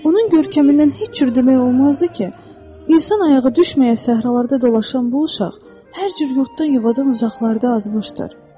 Onun görkəmindən heç cür demək olmazdı ki, insan ayağı düşməyə səhralarda dolaşan bu uşaq hər cür yurddan-yuvadan uzaqlarda azmışdır.